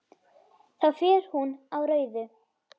Þá fer hún á rauðu.